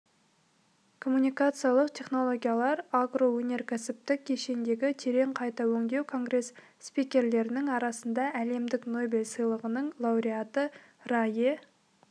коммуникациялық технологиялар агроөнеркәсіптік кешендегі терең қайта өңдеу конгресс спикерлерінің арасында әлемдік нобель сыйлығығының лауреаты рае